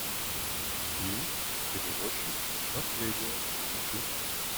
фильм перевозчик наследие включи